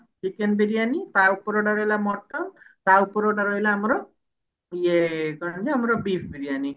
chicken biryani ତା ଉପରଟା mutton ତା ଉପରଟା ରହିଲା ଆମର ଇଏ କଣ ନା ଆମର beef ବିରିୟାନୀ